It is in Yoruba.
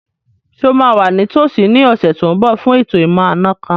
Ṣé o máa wà ní tòsí ní ọ̀sẹ̀ tó n bọ̀ fún ètò ìmọ̀-àna kan